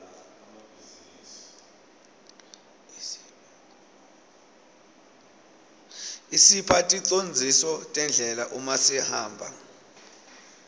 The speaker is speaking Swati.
isipha ticondziso tendlela uma sihamba